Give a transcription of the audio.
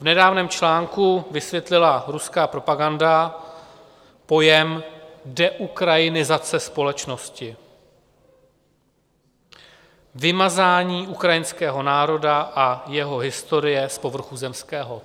V nedávném článku vysvětlila ruská propaganda pojem deukrajinizace společnosti: vymazání ukrajinského národa a jeho historie z povrchu zemského.